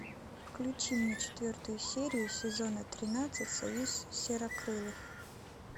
включи мне четвертую серию сезона тринадцать союз серокрылых